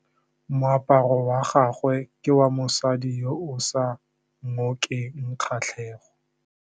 Moaparô wa gagwe ke wa mosadi yo o sa ngôkeng kgatlhegô.